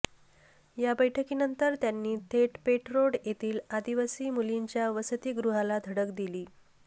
या बैठकीनंतर त्यांनी थेट पेठरोड येथील आदिवासी मुलींच्या वसतिगृहाला धडक दिली